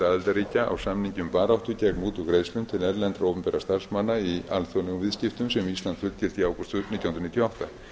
aðildarríkja á samningi um baráttu gegn mútugreiðslum til erlendra opinberra starfsmanna í alþjóðlegum viðskiptum sem ísland fullgilti í ágúst nítján hundruð níutíu og átta